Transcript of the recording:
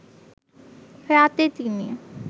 রাতে তিনি